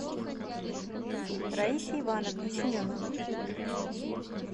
раисе ивановне семеновой